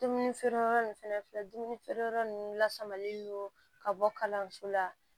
Dumuni feere yɔrɔ nunnu fɛnɛ filɛ dumuni feere yɔrɔ nunnu la samali don ka bɔ kalanso la